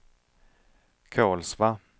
Kolsva